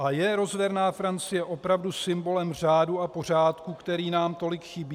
A je rozverná Francie opravdu symbolem řádu a pořádku, který nám tolik chybí?